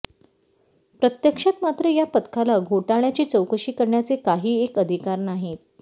प्रत्यक्षात मात्र या पथकाला घोटाळय़ाची चौकशी करण्याचे काहीएक अधिकार नाहीत